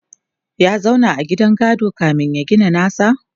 ya zauna a gidan gado kamin ya gina nasa?